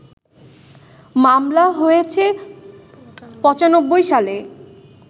“মামলা হয়েছে ৯৫ সালে